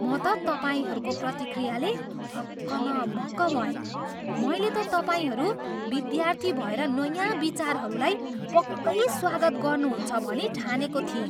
म त तपाईँहरूको प्रतिक्रियाले हक्क न बक्क भएँ। मैले त तपाईँहरू विद्यार्थी भएर नयाँ विचारहरूलाई पक्कै स्वागत गर्नुहुन्छ भनी ठानेको थिएँ।